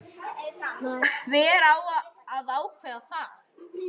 Hver á að ákveða það?